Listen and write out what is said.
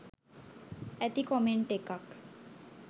ඇති කොමෙන්ට් එකක්.